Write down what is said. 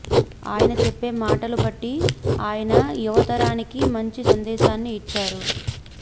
ఆయన చెప్పే మాటల బట్టి ఆయన యువ తరానికి మంచి సందేశాన్ని యిచ్చారు